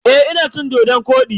Eh, ina cin dodon-kwodi.